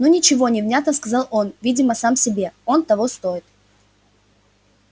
ну ничего невнятно сказал он видимо сам себе он того стоит